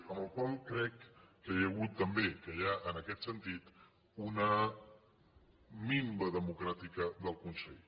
per la qual cosa crec que hi ha hagut també que hi ha en aquest sentit una minva democràtica del consell